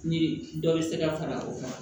Ni dɔ bɛ se ka fara o kan